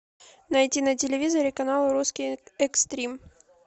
найти на телевизоре канал русский экстрим